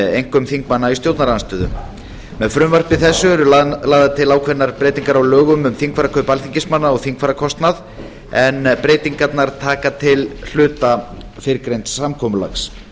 einkum þingmanna í stjórnarandstöðu með frumvarpi þessu eru lagðar til ákveðnar breytingar á lögum um þingfararkaup alþingismanna og þingfararkostnað en breytingarnar taka til hluta fyrrgreinds samkomulags